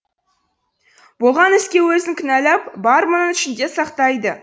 болған іске өзін кінәләп бар мұңын ішінде сақтайды